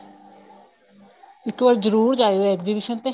ਇੱਕ ਵਾਰ ਜਰੂਰ ਜਾਇਓ exhibition ਤੇ